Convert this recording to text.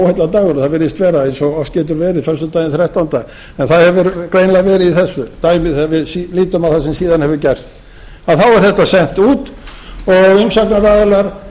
það virðist vera eins og oft getur verið föstudagurinn þrettándi það hefur greinilega verið í þessu dæmi þegar við lítum á það sem síðan hefur gerst þá er þetta sent út og umsagnaraðilar